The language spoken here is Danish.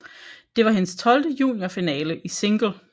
Det var hendes tolvte juniorfinale i single